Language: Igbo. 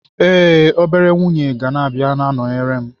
Ee, obere nwunye ga-abịa na-anọnyere m.